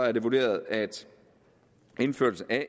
er det vurderet at indførelse af